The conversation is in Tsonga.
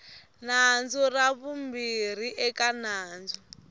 nandzu ra vumbirhi eka nandzu